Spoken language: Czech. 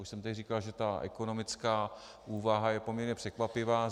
Už jsem tady říkal, že ta ekonomická úvaha je poměrně překvapivá.